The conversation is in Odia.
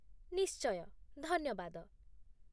ନିଶ୍ଚୟ, ଧନ୍ୟବାଦ ।